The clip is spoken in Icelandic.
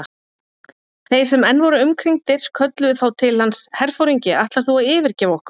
Þeir sem enn voru umkringdir kölluðu þá til hans: Herforingi, ætlar þú að yfirgefa okkur?